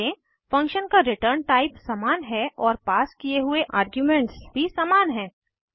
ध्यान दें फंक्शन का रिटर्न टाइप समान है और पास किये हुए आर्ग्यूमेंट्स भी समान हैं